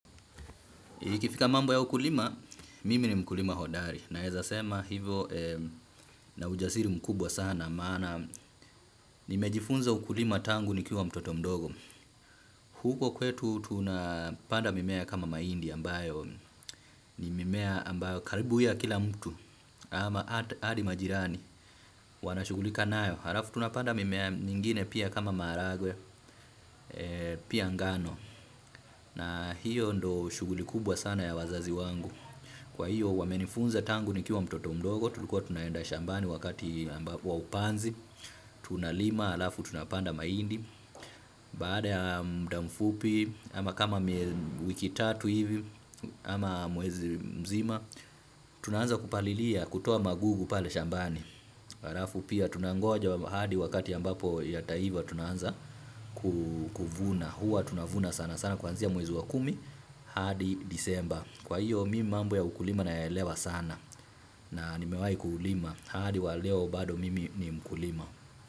Ikifika mambo ya ukulima, mimi ni mkulima hodari, naeza sema hivo na ujasiri mkubwa sana, maana nimejifunza ukulima tangu nikiwa mtoto mdogo. Huko kwetu tunapanda mimea kama mahindi ambayo, ni mimea ambayo karibu ya kila mtu, ama hadi majirani, wanashughulika nayo. Halafu tunapanda mimea mingine pia kama maragwe, pia ngano, na hiyo ndo shughuli kubwa sana ya wazazi wangu. Kwa hiyo wamenifunza tangu nikiwa mtoto mdogo, tulikuwa tunaenda shambani wakati ambapo, wa upanzi tunalima, alafu tunapanda mahindi, baada ya muda mfupi, ama kama wiki tatu hivi, ama mwezi mzima tunaanza kupalilia, kutoa magugu pale shambani. Alafu pia tunangoja hadi wakati ambapo yataiva tuna anza kuvuna huwa tunavuna sana sana kwanzia mwezi wa kumi hadi Disemba. Kwa hiyo mimi mambo ya ukulima nayaelewa sana na nimewai kulima hadi wa leo bado mimi ni mkulima.